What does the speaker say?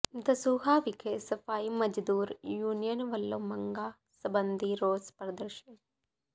ਦਸੂਹਾ ਵਿਖੇ ਸਫ਼ਾਈ ਮਜ਼ਦੂਰ ਯੂਨੀਅਨ ਵਲੋਂ ਮੰਗਾਂ ਸਬੰਧੀ ਰੋਸ ਪ੍ਰਦਰਸ਼ਨ